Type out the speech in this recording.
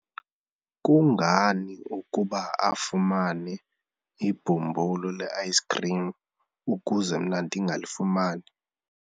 kungani ukuba afumane ibhumbulu le-ayisikhrim ukuze mna ndingalifumani?